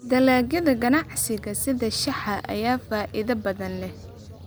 Dalagyada ganacsiga sida shaaha ayaa faa'iido badan leh.